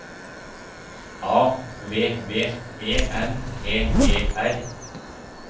A V V E N T E R